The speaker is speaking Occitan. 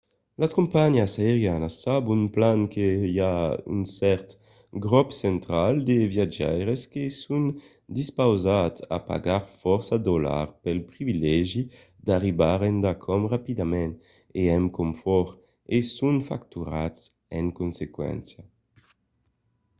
las companhiás aerianas sabon plan que i a un cèrt grop central de viatjaires que son dispausats a pagar fòrça dolars pel privilegi d'arribar endacòm rapidament e amb confòrt e son facturats en consequéncia